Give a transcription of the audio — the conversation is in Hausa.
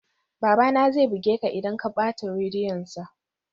Babana zai buge ka idan ka bata rediyonsa